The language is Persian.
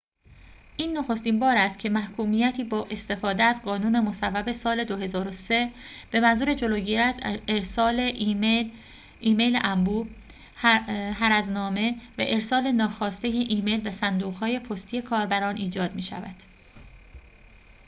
این نخستین بار است که محکومیتی با استفاده از قانون مصوب سال ۲۰۰۳ به منظور جلوگیری از ارسال ایمیل انبوه هرزنامه و ارسال ناخواسته ایمیل به صندوق های پستی کاربران ایجاد می‌شود